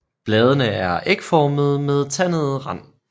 Bladene er ægformede med tandet rand